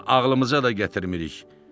Bunu ağlımıza da gətirmirik.